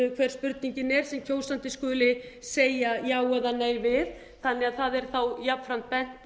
hver spurningin er sem kjósandi skuli segja já eða nei við það er þá jafnframt bent